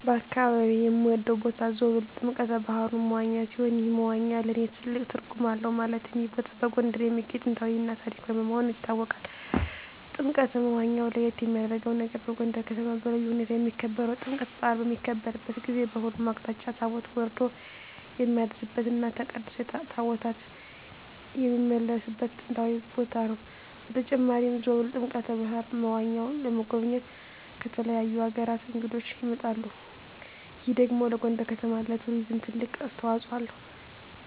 በአካባቢየ የምወደው ቦታ ዞብል ጥምቀተ ባህሩ (መዋኛ) ሲሆን ይህ መዋኛ ለእኔ ትልቅ ትርጉም አለው ማለትም ይህ ቦታ በጎንደር የሚገኝ ጥንታዊ እና ታሪካዊ መሆኑ ይታወቃል። ጥምቀተ መዋኛው ለየት የሚያረገው ነገር በጎንደር ከተማ በልዩ ሁኔታ የሚከበረው የጥምቀት በአል በሚከበርበት ጊዜ በሁሉም አቅጣጫ ታቦት ወርዶ የሚያድርበት እና ተቀድሶ ታቦታት የሚመለስበት ጥንታዊ ቦታ ነው። በተጨማሪም ዞብል ጥምቀተ በሀሩ (መዋኛው) ለመጎብኘት ከተለያዩ አገራት እንግዶች ይመጣሉ ይህ ደግሞ ለጎንደር ከተማ ለቱሪዝም ትልቅ አስተዋጽኦ አለው።